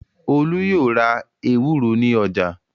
Ọlá yóò ra ewúro ní ọjà.